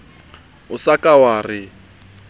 o sa ka wa re